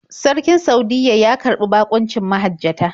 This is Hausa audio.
Sarkin Saudiyya ya karɓi baƙuncin mahajjata.